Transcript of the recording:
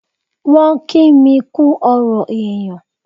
Wọ́n kí mi kú ọ̀rọ̀ èyàn.